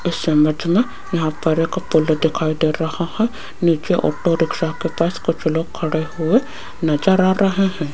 इस इमेज में यहां पर एक फोटो दिखाई दे रहा हैं नीचे ऑटो रिक्शा के पास कुछ लोग खड़े हुए नजर आ रहे हैं।